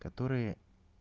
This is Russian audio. которые